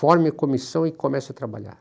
Forme comissão e comece a trabalhar.